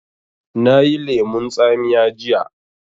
Na yi lemun tsamiya jiya